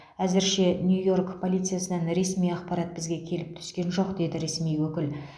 әзірше нью йорк полициясынан ресми ақпарат бізге келіп түскен жоқ деді ресми өкіл